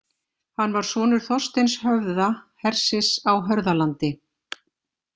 Hann var sonur Þorsteins höfða, hersis á Hörðalandi.